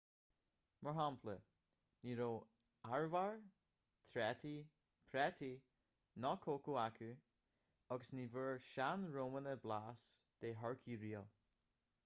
mar shampla ní raibh arbhar trátaí prátaí ná cócó acu agus ní bhfuair sean-rómhánach blas de thurcaí riamh